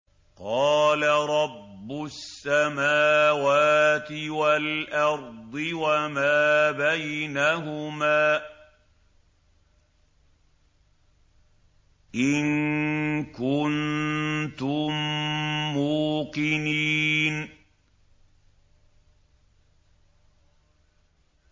قَالَ رَبُّ السَّمَاوَاتِ وَالْأَرْضِ وَمَا بَيْنَهُمَا ۖ إِن كُنتُم مُّوقِنِينَ